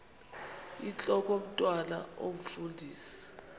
intlok omntwan omfundisi